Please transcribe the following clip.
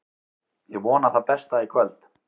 Ég vona það besta í kvöld.